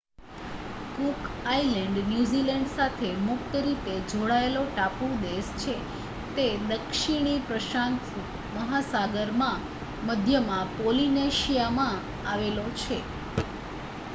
cook Island New Zealand સાથે મુક્ત રીતે જોડાયેલો ટાપુ દેશ છે જે દક્ષિણી પ્રશાંત મહાસાગરમાં મધ્યમાં પૉલિનેશિયામાં આવેલો છે